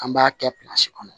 An b'a kɛ kɔnɔ